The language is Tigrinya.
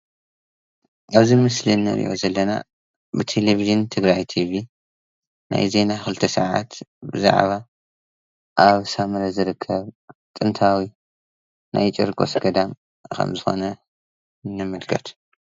ኣብዚ ምስሊ እንርእዮ ዘለና ብቴሎቭዥን ትግራይ ቲቪ ናይ ዜና ክልተ ሰዓት ብዛዕባ ኣብ ሳምረ ዝርከብ ጥንታዊ ናይ ጨርቆሰ ገዳም ከም ዝኮነ ንምልከት።